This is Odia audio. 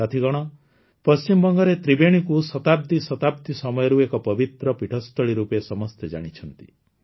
ସାଥୀଗଣ ପଶ୍ଚିମବଙ୍ଗରେ ତ୍ରିବେଣୀକୁ ଶତାବ୍ଦୀ ଶତାବ୍ଦୀ ସମୟରୁ ଏକ ପବିତ୍ର ପୀଠସ୍ଥଳୀ ରୂପେ ସମସ୍ତେ ଜାଣିଛନ୍ତି